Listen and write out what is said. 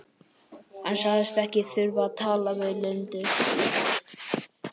Hann sagðist ekki þurfa að tala við Lindu.